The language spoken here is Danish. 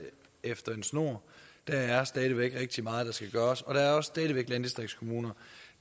efter en snor der er stadig væk rigtig meget der skal gøres og der er stadig væk også landdistriktskommuner